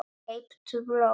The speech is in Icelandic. Kauptu blóm.